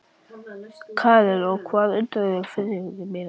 Karen: Og hver endurgreiðir farþegunum miðana?